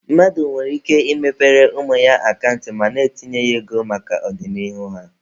Mmadụ nwere ike ị mepere ụmụ ya akant ma na-etinye ego maka ọdịnihu ha.